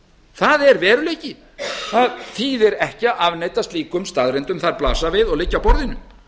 það er veruleiki það þýðir ekki að afneita slíkum staðreyndum þær blasa við og liggja á borðinu